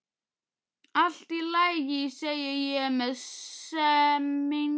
Allt í lagi, segi ég með semingi.